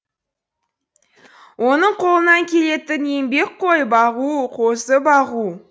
оның қолынан келетін еңбек қой бағу қозы бағу